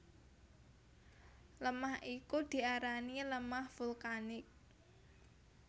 Lemah iku diarani lemah vulkanik